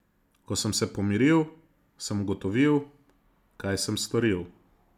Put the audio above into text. Ko sem se pomiril, sem ugotovil, kaj sem storil.